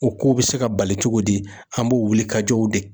O ko be se ka bali cogo di? An b'o wuli ka jɔw de